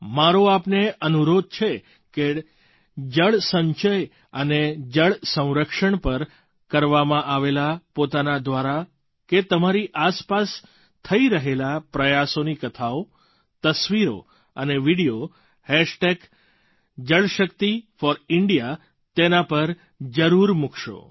મારો આપને અનુરોધ છે કે જળસંચય અને જળસંરક્ષણ પર કરવામાં આવેલા પોતાના દ્વારા કે તમારી આસપાસ થઈ રહેલા પ્રયાસોની કથાઓ તસવીરો અને વિડિયો jalshakti4India તેના પર જરૂર મૂકશો